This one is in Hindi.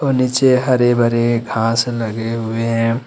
और नीचे हरे भरे घास लगे हुए हैं।